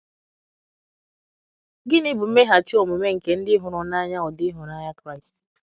Gịnị bụ mmeghachi omume nke ndị hụrụ n'anya ụdị ịhụnanya Kraịst?